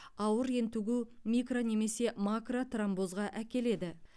ауыр ентігу микро немесе макротромбозға әкеледі